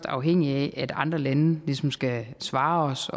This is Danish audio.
afhængige af at andre lande ligesom skal svare os